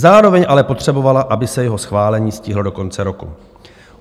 Zároveň ale potřebovala, aby se jeho schválení stihlo do konce roku.